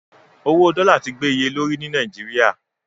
Owó dọ́là ti gbé iye lórí ní Nàìjíríà.